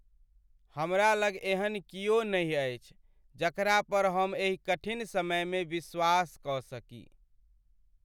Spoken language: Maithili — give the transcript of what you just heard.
हमरा लग एहन कियो नहि अछि जकरा पर हम एहि कठिन समयमे विश्वास कऽ सकी।